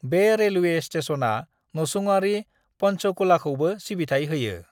बे रेलवे स्टेशनआ नसुंआरि पंचकूलाखौबो सिबिथाइ होयो।